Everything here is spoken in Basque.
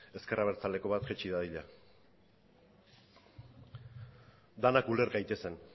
ezker abertzaleko bat jaitsi dadila denak uler gaitezen